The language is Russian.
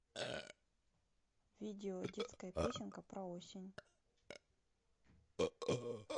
видео детская песенка про осень